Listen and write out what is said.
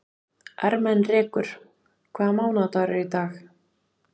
Ermenrekur, hvaða mánaðardagur er í dag?